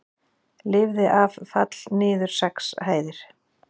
Lifði af fall niður sex hæðir